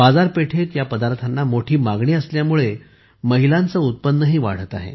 बाजारपेठेत या पदार्थांना मोठी मागणी असल्यामुळे महिलांचे उत्पन्नही वाढत आहे